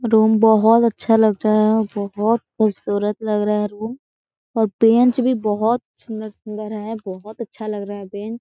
Room बोहत अच्छा लग रहा है और बोहत खुबसूरत लग रहा है रूम और बेंच भी बोहत सुन्दर-सुन्दर है बोहत अच्छा लग रहा है बेंच ।